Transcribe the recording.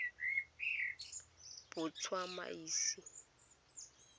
botsamaisi